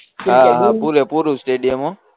હા હા પૂરે પૂરું સ્ટેડીયમ હો